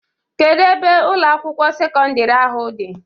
Kedu ebe Ụlọ akwụkwọ sekọndrị ahụ dị?